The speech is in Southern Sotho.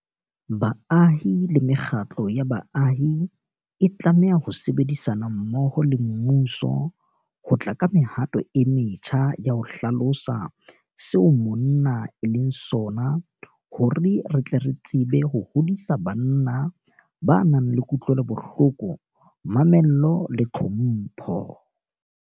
Baahi le mekgatlo ya baahi e tlameha ho sebedisana mmoho le mmuso ho tla ka mehato e metjha ya ho hlalosa seo monna e leng sona hore re tle re tsebe ho hodisa banna ba nang le kutlwelobohloko, mamello le tlhompho.